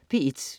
P1: